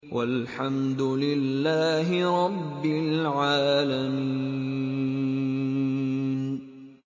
وَالْحَمْدُ لِلَّهِ رَبِّ الْعَالَمِينَ